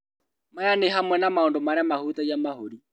Maya nĩ hamwe na maũndũ marĩa mahutagia mahũri